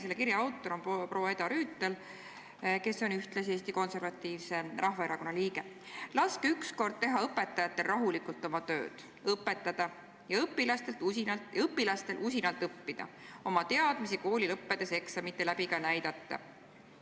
Selle kirja autor on proua Eda Rüütel, kes on ühtlasi Eesti Konservatiivse Rahvaerakonna liige: "Laske ükskord teha õpetajatel rahulikult oma tööd – õpetada – ja õpilastel usinalt õppida, oma teadmisi kooli lõppedes eksamite läbi ka näidata.